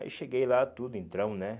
Aí cheguei lá, tudo, entramos, né?